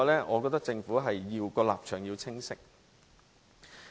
我覺得政府的立場是要清晰的。